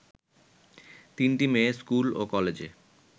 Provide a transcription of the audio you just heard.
তিনটি মেয়ে স্কুল ও কলেজে